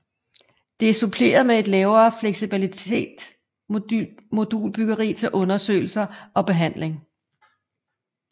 Det er suppleret med et lavere fleksibelt modulbyggeri til undersøgelser og behandling